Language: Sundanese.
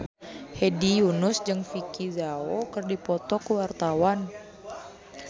Hedi Yunus jeung Vicki Zao keur dipoto ku wartawan